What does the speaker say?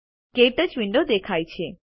ક્ટચ વિન્ડો દેખાય છે